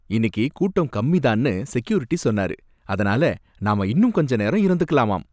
இன்னிக்கு கூட்டம் கம்மிதான்னு செக்யூரிட்டி சொன்னாரு. அதனால நாம இன்னும் கொஞ்ச நேரம் இருந்துக்கலாமாம்